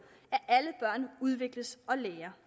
at udvikles og lærer